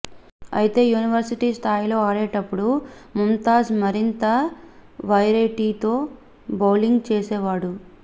అయితే యూనివర్సిటీ స్థాయిలో ఆడేటప్పుడు ముంతాజ్ మరింత వెరైటీతో బౌలింగ్ చేసేవాడు